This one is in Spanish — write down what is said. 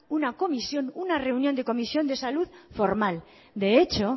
una reunión de comisión de salud formal de hecho